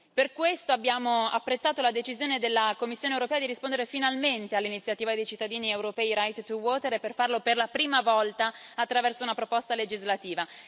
Per questo abbiamo apprezzato la decisione della Commissione europea di rispondere finalmente all'iniziativa dei cittadini europei Right2Water e di farlo per la prima volta attraverso una proposta legislativa.